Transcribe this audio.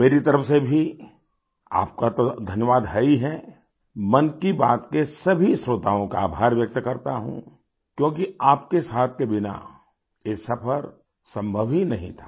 मेरी तरफ़ से भी आपका तो धन्यवाद है ही है मन की बात के सभी श्रोताओं का आभार व्यक्त करता हूँ क्योंकि आपके साथ के बिना ये सफ़र संभव ही नहीं था